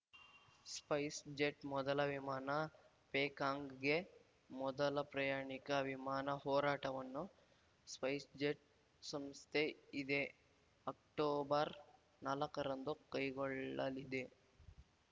Spice jet ಮೊದಲ ವಿಮಾನ ಪೇಕಾಂಗ್‌ಗೆ ಮೊದಲ ಪ್ರಯಾಣಿಕ ವಿಮಾನ ಹೋರಾಟವನ್ನು ಸ್ಪೈಸ್‌ಜೆಟ್‌ ಸಂಸ್ಥೆ ಇದೇ ಅಕ್ಟೋಬರ್‌ ನಾಲಕ್ಕರಂದು ಕೈಗೊಳ್ಳಲಿದೆ